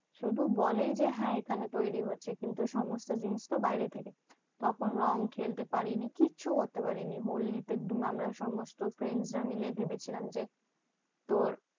শুধু বলেই যে এখানে তৈরী হচ্ছে কিন্তু সমস্ত জিনিসতো বাইরে থেকে। তখন রং খেলতে পারিনি কিচ্ছু করতে পারিনি। হোলিতে দিন আমরা সমস্ত friend রা মিলে ভেবেছিলাম যে, তোর